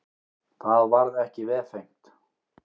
Það varð ekki vefengt.